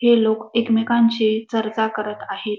हे लोक एकमेकांशी चर्चा करत आहे.